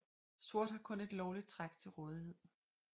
Sort har kun et lovligt træk til rådighed